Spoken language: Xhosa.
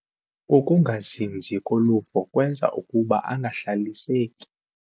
Ukungazinzi koluvo kwenza ukuba angahlaliseki.